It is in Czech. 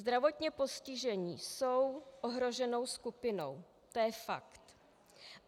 Zdravotně postižení jsou ohroženou skupinou, to je fakt.